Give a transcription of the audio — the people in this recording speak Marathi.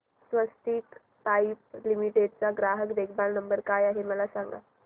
स्वस्तिक पाइप लिमिटेड चा ग्राहक देखभाल नंबर काय आहे मला सांगा